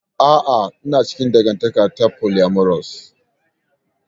A'a, ina cikin dangantaka ta polyamorous.